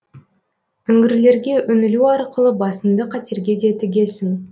үңгірлерге үңілу арқылы басыңды қатерге де тігесің